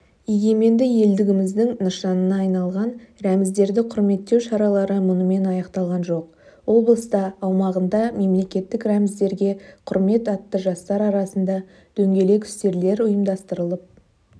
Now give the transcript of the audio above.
егеменді елдігіміздің нышанына айналған рәміздерді құрметтеу шаралары мұнымен аяқталған жоқ облыста аумағында мемлекеттік рәміздерге құрмет атты жастар арасында дөңгелек үстелдер ұйымдастырылып